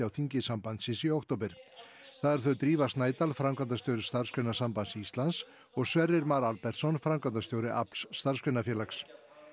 þingi sambandsins í október það eru þau Drífa Snædal framkvæmdastjóri Starfsgreinasambands Íslands og Sverrir Mar Albertsson framkvæmdastjóri starfsgreinafélags